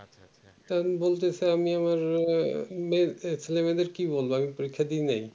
তখন বলতেসে আমি আমার আমার ছেলে মেয়ে দেড় কি বলবো আমি পরীক্ষা দি নাই